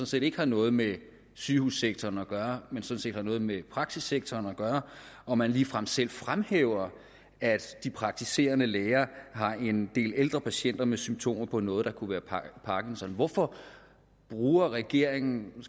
set ikke har noget med sygehussektoren at gøre men som sådan set har noget med praksissektoren at gøre og man ligefrem selv fremhæver at de praktiserende læger har en del ældre patienter med symptomer på noget der kunne være parkinson hvorfor bruger regeringen